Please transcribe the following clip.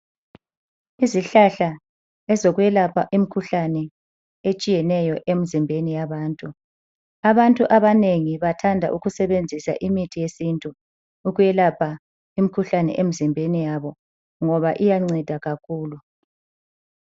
Izihlahla ezokwelapha imkhuhlane etshiyeneyo emzimbeni yabantu, abantu abanengi bathanda ukusebenzisa imithi yesintu, ukwelapha imkhuhlane emzimbeni yabo ngoba iyanceda kakhulu.